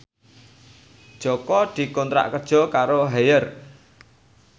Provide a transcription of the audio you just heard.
Jaka dikontrak kerja karo Haier